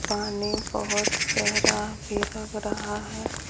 पानी बहुत गहरा भी लग रहा है।